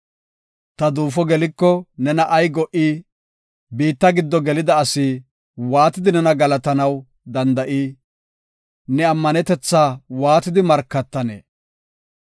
“Ta duufo geliko nena ay go77ii? Biitta giddo gelida asi waatidi nena galatanaw danda7ii? Ne ammanetetha waatidi markatanee?